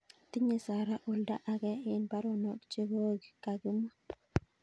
Tinye Sara oldo age en baronok chekoo kakimwa